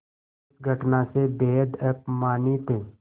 इस घटना से बेहद अपमानित